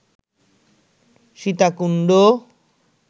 Sitakunda